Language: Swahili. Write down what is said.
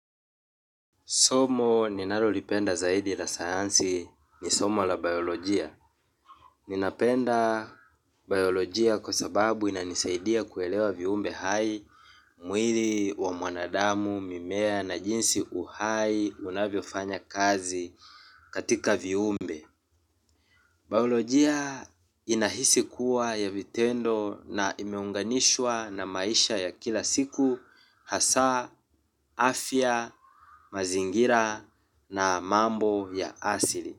Somo ni ninalolipenda zaidi la sayansi ni somo la biolojia. Ninapenda biolojia kwa sababu inanisaidia kuelewa viumbe hai mwili wa mwanadamu mimea na jinsi uhai unavyo fanya kazi katika viumbe. Baolojia inahisi kuwa ya vitendo na imeunganishwa na maisha ya kila siku hasa, afya, mazingira na mambo ya asili.